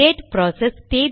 date process